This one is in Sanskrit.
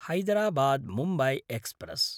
हैदराबाद्–मुम्बय् एक्स्प्रेस्